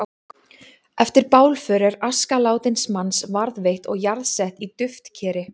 Eftir bálför er aska látins manns varðveitt og jarðsett í duftkeri.